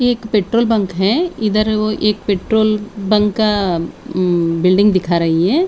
ये एक petrol bunk है इधर वो एक पेट्रोल बंक का उम बिल्डिंग दिखा रही है।